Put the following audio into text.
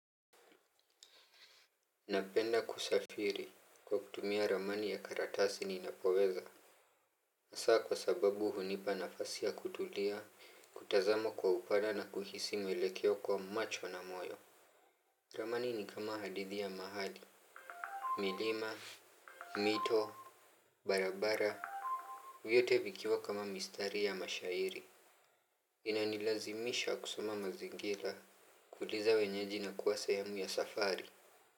Napenda kusafiri kwa kutumia ramani ya karatasi ninapoweza. Haswa kwa sababu hunipa nafasi ya kutulia, kutazama kwa upana na kuhisi mwelekeo kwa macho na moyo. Ramani ni kama hadithi ya mahali. Milima, mito, barabara. Vyote vikiwa kama mistari ya mashairi. Inanilazimisha kusoma mazingira, kuuliza wenyeji na kuwa sehemu ya safari.